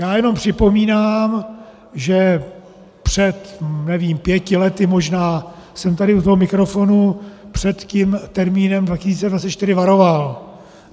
Já jenom připomínám, že před, nevím, pěti lety možná jsem tady u toho mikrofonu před tím termínem 2024 varoval.